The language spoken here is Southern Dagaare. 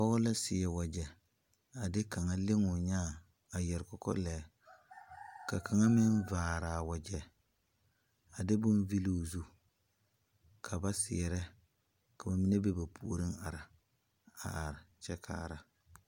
Pɔgɔ la seɛ wagye a de kanga leŋ o nyaa a yɛre kɔkɔleɛ. Ka kanga meŋ a vaare a wagye, a de boŋ vulu o zu ka ba seɛrɛ. Ka ba mene be ba pooreŋ are a are kyɛ kaara